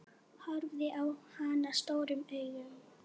Horfði á hana stórum augum.